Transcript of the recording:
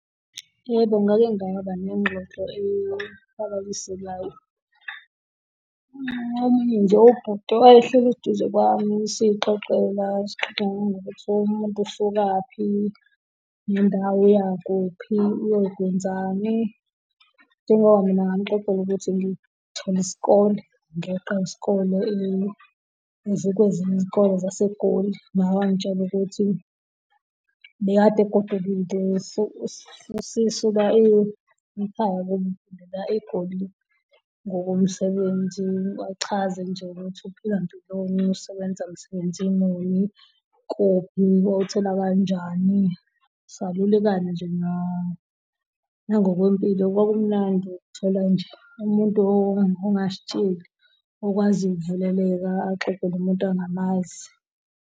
Yebo, ngake ngaba nengxoxo . Omunye nje ubhuti owayehleli eduze kwami siy'xoxela, sixoxa nangokuthi umuntu usukaphi nendawo, uyakuphi, uyokwenzani. Njengoba mina ngamuxoxela ukuthi ngithole isikole, ngiyoqa isikole kwezinye iy'kole zaseGoli. Naye wangitshela ukuthi ubekade egodukile usesuka ekhaya uphindela eGoli ngokomsebenzi. Wachaza nje ukuthi uphila mpiloni, usebenza msebenzi muni, kuphi, wawuthola kanjani. Salulekana nje nangokwempilo, kwakumnandi, ukuthola nje umuntu ongazitsheli, okwaziyo ukuvuleleka, axoxe nomuntu angamazi.